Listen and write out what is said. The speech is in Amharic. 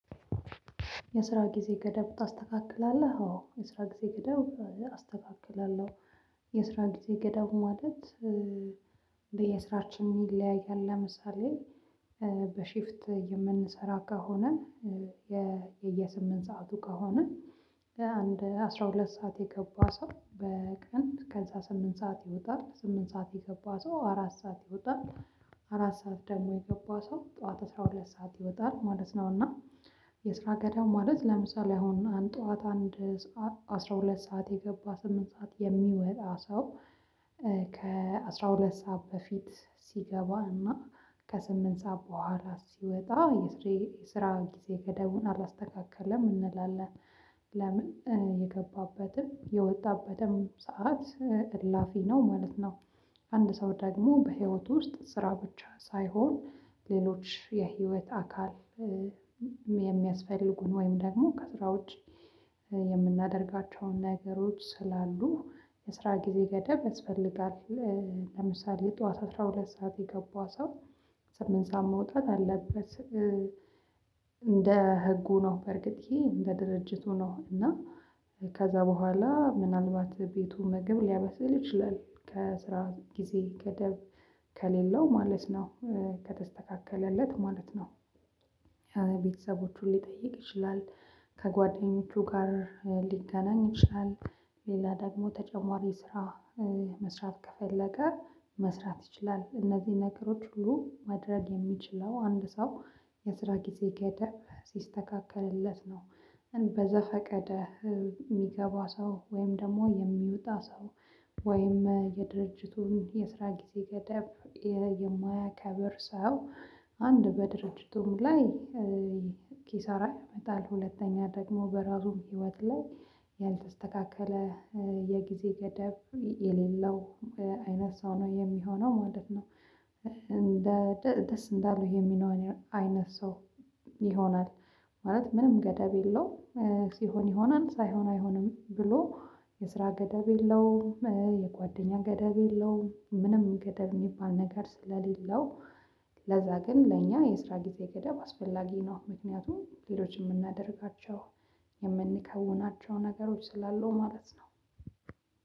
የስራ ጊዜ ገደብ ታስተካክላለህ? አዎ የስራ ጊዜ ገደብ አስተካክላለሁ። የስራ ጊዜ ገደብ ማለት። የስራችን ይለያያል ለምሳሌ በሺፍት የምንሰራ ከሆነ በየስምንት ሰዓቱ ከሆነ በአንድ አስራ ሁለት ሰዓት የገባ ሰው በቀን ከዛ ስምንት ሰዓት ይወጣል ስምንት ሰዓት የገባ ሰው አራት ሰዓት ይወጣል። አራት ሰዓት ደግሞ የገባ ሰው ጠዋት አስራ ሁለት ሰዓት ይወጣል ማለት ነው። እና የስራ ገደብ ማለት ለምሳሌ አሁን ጠዋት አንድ አስራ ሁለት ሰዓት የገባ ስምንት ሰዓት የሚወጣ ሰው ከአሥራ ሁለት ሰዓት በፊት ሲገባ እና ከስምንት ሰዓት በኋላ ሲወጣ የስራ ጊዜ ገደቡን አላስተካክልም እንላለን። ለምን የገባበትም የወጣበትም ሰዓት እላፊ ነው ማለት ነው። አንድ ሰው ደግሞ በህይወት ውስጥ ስራ ብቻ ሳይሆን ሌሎች የህይወት አካል የሚያስፈልጉን ወይም ደግሞ ከስራ ውጪ የምናደርጋቸውን ነገሮች ስላሉ የስራ ጊዜ ገደብ ያስፈልጋል። ለምሳሌ ጠዋት አስራ ሁለት ሰዓት የገባ ሰው ስምንት ሰዓት መውጣት አለበት። እንደ ህጉ ነው በርግጥ ይሄ እንደ ድርጅቱ ነው። እና ከዛ በኋላ ምናልባት ቤቱ ምግብ ሊያበስል ይችላል ከስራ ጊዜ ገደብ ከሌለው ማለት ነው። ከተስተካከለለት ማለት ነው። ቤተሰቦቹን ሊጠይቅ ይችላል። ከጓደኞቹ ጋር ሊገናኝ ይችላል። ሌላ ደግሞ ተጨማሪ ስራ መስራት ከፈለገ መስራት ይችላል። እነዚህ ነገሮች ሁሉ ማድረግ የሚችለው አንድ ሰው የስራ ጊዜ ገደብ ሲስተካከልለት ነው። በዘፈቀደ የሚገባ ሰው ወይም ደግሞ የሚወጣ ሰው ወይም የድርጅቱን የስራ ጊዜ ገደብ የማያከብር ሰው አንድ በድርጅቱም ላይ ኪሳራ ይመጣል። ሁለተኛ ደግሞ በራሱም ህይወት ላይ ያልተስተካከለ የጊዜ ገደብ የሌለው አይነት ሰው ነው የሚሆነው ማለት ነው። እንደ ደስ እንዳለው የሚኖር አይነት ሰው ይሆናል። ማለት ምንም ገደብ የለውም ሲሆን ይሆናል ሳይሆን አይሆንም ብሎ የስራ ገደብ የለውም የጓደኛ ገደብ የለውም ምንም ገደብ የሚባል ነገር ስለሌለው ለዛ ግን ለእኛ የስራ ጊዜ ገደብ አስፈላጊ ነው። ምክንያቱም ሌሎችን የምናደርጋቸው የምንከውናቸው ነገሮች ስላሉ ማለት ነው።